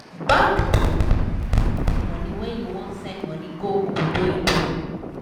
bank da normally add small money when u wan send money go obodoyibo